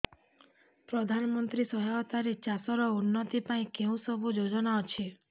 ପ୍ରଧାନମନ୍ତ୍ରୀ ସହାୟତା ରେ ଚାଷ ର ଉନ୍ନତି ପାଇଁ କେଉଁ ସବୁ ଯୋଜନା ଅଛି